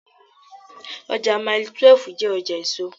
Ọjà Mailí 12 jẹ́ ọjà èso.